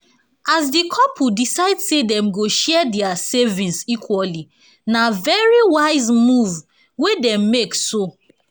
as di couple decide say dem go share dia savings equally na very wise move wey dem make so